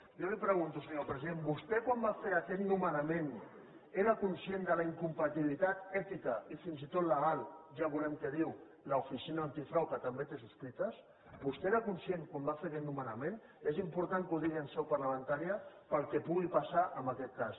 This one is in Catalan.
jo li pregunto senyor president vostè quan va fer aquest nomenament era conscient de la incompatibilitat ètica i fins i tot legal ja veurem què hi diu l’oficina antifrau que també té subscrites vostè n’era conscient quan va fer aquest nomenament és important que ho digui en seu parlamentària pel que pugui passar en aquest cas